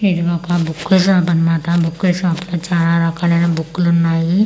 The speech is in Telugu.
ఇది ఒక బుక్కుల షాప్ అన్నమాట బుక్కుల షాప్ లో చాలా రకాలైన బుక్కులు ఉన్నాయి.